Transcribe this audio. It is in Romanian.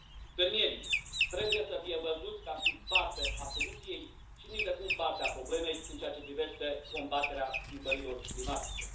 Fermierii trebuie să fie văzuți ca fiind parte a soluției și nicidecum parte a problemei în ceea ce privește combaterea schimbărilor climatice.